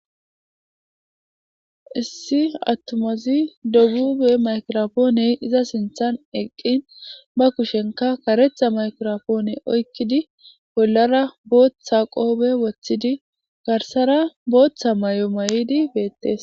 Issi attomazi dogube makirofpooney iza sinthan eqqin bakushenka karetha maykiropoone oykkidi bollara booththa qoobe woththidi garsara booththa may'o may'idi beettes.